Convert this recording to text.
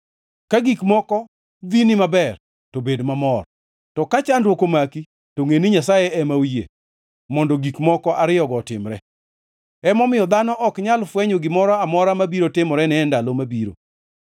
Ka gik moko dhini maber, to bed mamor, to ka chandruok omaki; to ngʼe ni Nyasaye ema oyie mondo gik moko ariyogo otimre. Emomiyo, dhano ok nyal fwenyo gimoro amora mabiro timorene e ndalo mabiro.